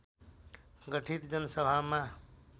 गठित जनसभामा